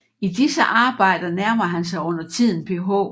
I disse arbejder nærmer han sig undertiden Ph